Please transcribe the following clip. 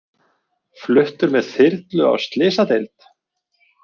Fluttur með þyrlu á slysadeild